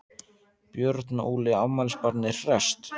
Björn Óli, afmælisbarnið hresst?